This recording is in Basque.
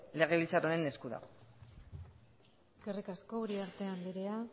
legebiltzar honen esku dago eskerrik asko uriarte andrea